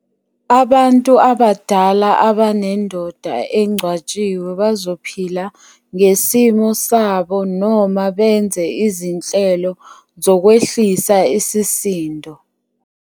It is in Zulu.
Abantu abadala abanendoda engcwatshiwe bazophila ngesimo sabo noma benze izinhlelo zokwehlisa isisindo.